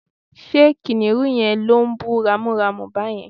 ṣe kìnìhún yẹn lo ń bú ramúramù bàyẹn?